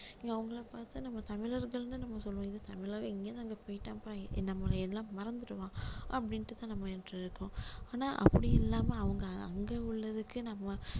அவங்களை பாத்தா நம்ம தமிழர்கள்னு நம்ம சொல்லுவோம் இது தமிழர் இங்க இருந்து அங்க போயிட்டான்பா நம்மளை எல்லாம் மறந்திடுவான் அப்படின்னுட்டு தான் நம்ம நினைச்சிட்டு இருக்கோம் ஆனா அப்படி இல்லாம அவங்க அங்க உள்ளதுக்கு நம்ம